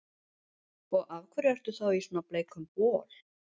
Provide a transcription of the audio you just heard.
Og af hverju ertu þá í svona bleikum bol?